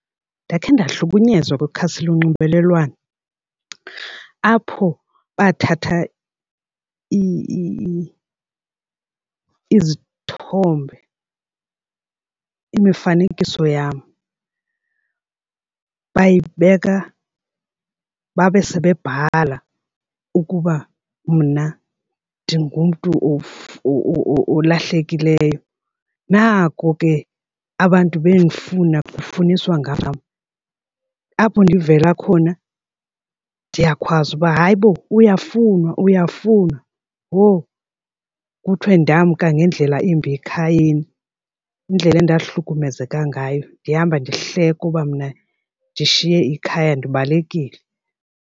Ndakhe ndahlukunyezwa kwikhasi lonxibelelwano apho bathatha izithombe, imifanekiso yam bayibeka babe sebebhala ukuba mna ndingumntu olahlekileyo. Nako ke abantu bendifuna kufaniswa ngam. Apho ndivela khona ndiyakhwazwa uba hayi bo uyafunwa uyafunwa. Ho, kuthiwe ndamka ngendlela embi ekhayeni. Indlela endahlukumezeka ngayo ndihamba ndihlekwa uba mna ndishiye ikhaya ndiballekile.